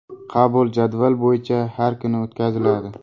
Qabul jadval bo‘yicha har kuni o‘tkaziladi.